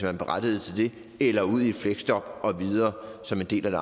er berettiget til det eller ud i et fleksjob og videre som en del